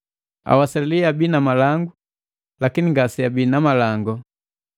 Awasali abii na malangu lakini ngaseabii na malango.